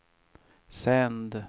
sänd